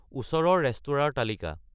ওচৰৰ ৰেস্তোৰাঁৰ তালিকা